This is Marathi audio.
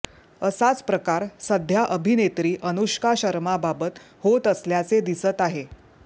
असाच प्रकार सध्या अभिनेत्री अनुष्का शर्माबाबत होत असल्याचे दिसत आहे